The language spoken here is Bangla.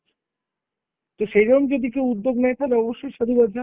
তো সেইরম যদি কেউ উদ্যোগ নেই থালে অবশ্যই সাধুবাদ ।